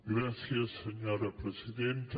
gràcies senyora presidenta